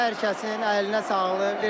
Hər kəsin əlinə sağlıq.